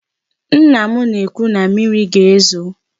Nna m na-ekwu na mmịrị ga-ezo.